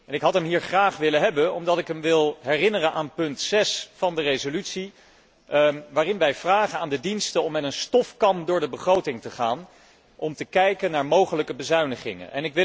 Ik had hem hier graag willen hebben, omdat ik hem wil herinneren aan paragraaf 6 van de resolutie waarin wij aan de diensten vragen om met een stofkam door de begroting te gaan om te kijken naar mogelijke bezuinigingen.